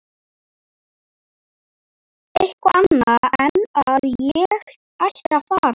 Eitthvað annað en að ég ætti að fara.